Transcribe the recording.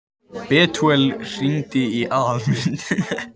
Betúel, hringdu í Aðalmund.